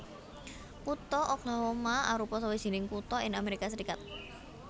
Kutha Oklahoma arupa sawijining kutha ing Amérika Sarékat